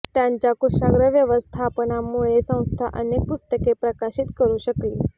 त्यांच्या कुशाग्र व्यवस्थापनामुळे संस्था अनेक पुस्तके प्रकाशित करू शकली